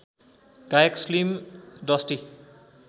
गायक Slim dusty